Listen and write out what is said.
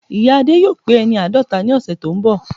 Ìya Adé yóò pé ẹni àádọ́ta ọdún ní ọ̀sẹ̀ tó ń bọ̀